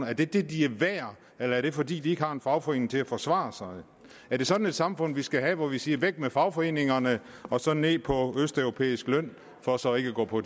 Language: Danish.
er det det de er værd eller er det fordi de ikke har en fagforening til at forsvare sig er det sådan et samfund vi skal have hvor vi siger væk med fagforeningerne og så ned på østeuropæisk løn for så ikke at gå på